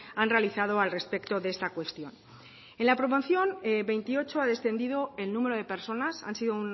han realizado al respecto de esta cuestión en la promoción veintiocho ha descendido el número de personas han sido